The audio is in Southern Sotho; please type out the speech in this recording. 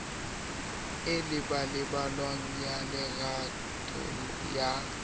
e labalabelwang ya lerato ya